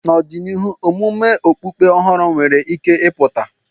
N'ọdịnihu, omume okpukpe ọhụrụ nwere ike ịpụta.